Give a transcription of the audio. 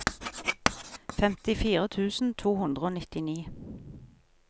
femtifire tusen to hundre og nittini